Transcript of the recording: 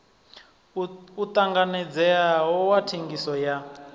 u tanganedzeaho wa thengiso ya